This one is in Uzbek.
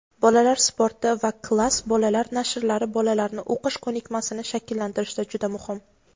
"Bolalar sporti" va "Klass" bolalar nashrlari bolalarni o‘qish ko‘nikmasini shakllantirishda juda muhim.